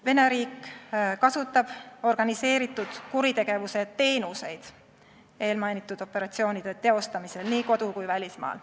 Vene riik kasutab organiseeritud kuritegevuse teenuseid eelmainitud operatsioonide tegemisel nii kodu- kui ka välismaal.